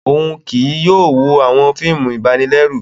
Òún kìí yóò wo awọn fíìmù ibanilẹru